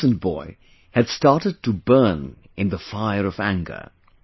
This innocent boy had started to burn in the fire of anger